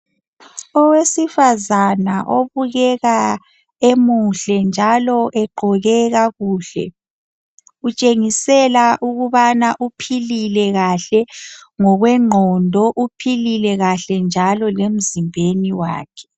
Owesifazana obukeka emuhle. Njalo egqoke kakuhle .Utshengisela ukubana uphilile kahle ngokwengqondo .Uphilile kahle njalo emzimbeni wakhe .